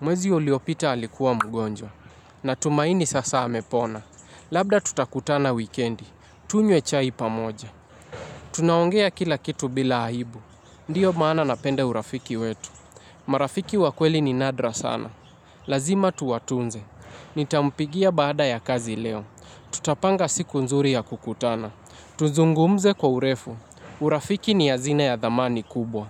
Mwezi uliopita alikuwa mgonjwa. Natumaini sasa amepona. Labda tutakutana wikendi. Tunywe chai pamoja. Tunaongea kila kitu bila aibu. Ndio maana napenda urafiki wetu. Marafiki wa kweli ni nadra sana. Lazima tuwatunze. Nitampigia baada ya kazi leo. Tutapanga siku nzuri ya kukutana. Tuzungumze kwa urefu. Urafiki ni hazina ya dhamani kubwa.